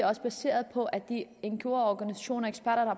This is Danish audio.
også baseret på at de ngo organisationer